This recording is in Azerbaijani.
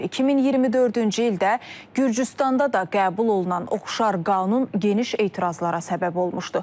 2024-cü ildə Gürcüstanda da qəbul olunan oxşar qanun geniş etirazlara səbəb olmuşdu.